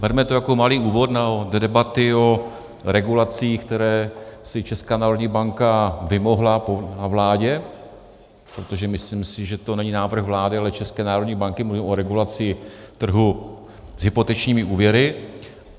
Berme to jako malý úvod do debaty o regulacích, které si Česká národní banka vymohla na vládě, protože myslím si, že to není návrh vlády, ale České národní banky - mluvím o regulaci trhu s hypotečními úvěry.